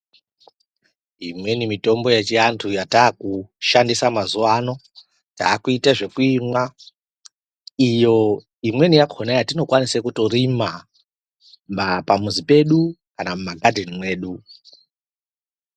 Imweni mitombo yechiantu yatakushandisa mazuwano, takuyita zvokuyimwa. Iyo, imweni yakhona yatinokwanise kutorima pamuzi pedu kana mumaghadheni medu.